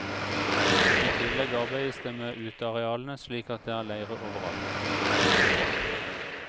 I tillegg arbeides det med utearealene, slik at det er leire overalt.